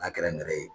N'a kɛra nɛrɛ ye